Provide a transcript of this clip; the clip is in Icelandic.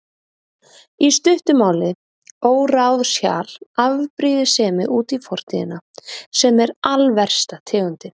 Í stuttu máli, óráðshjal, afbrýðisemi út í fortíðina, sem er alversta tegundin.